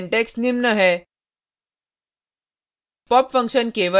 pop function का syntax निम्न है